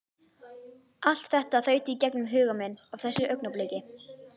Allt þetta þaut í gegnum huga minn á þessu augnabliki.